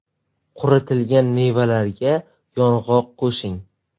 Quritilgan mevalarga yong‘oq qo‘shing.